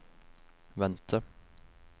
vente